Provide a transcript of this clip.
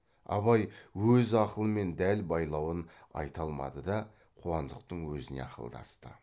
абай өз ақылымен дәл байлауын айта алмады да қуандықтың өзіне ақылдасты